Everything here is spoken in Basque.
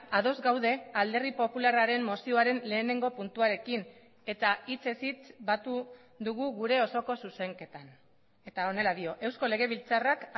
ados gaude alderdi popularraren mozioaren lehenengo puntuarekin eta hitzez hitz batu dugu gure osoko zuzenketan eta honela dio eusko legebiltzarrak